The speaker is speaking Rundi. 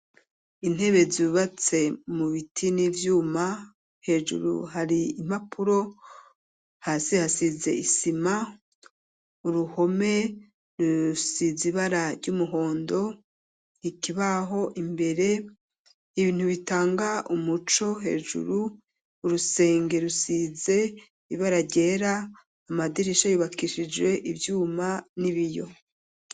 Intebe zubatse mu biti n'ivyuma, hejuru hari impapuro hasi hasize isima uruhome rusiz ibara ry'umuhondo, ikibaho imbere ibintu bitanga umuco hejuru urusenge rusize ibara ryera, amadirisha yubakishije ivyuma n'ibiyo.